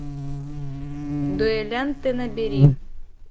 дуэлянты набери